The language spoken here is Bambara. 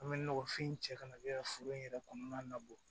An bɛ nɔgɔfin cɛ kana kɛ foro in yɛrɛ kɔnɔna bolo